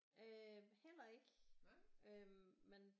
Øh heller ikke men